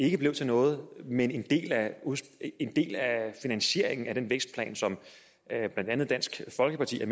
ikke blev til noget men at en del af finansieringen af den vækstplan som blandt andet dansk folkeparti har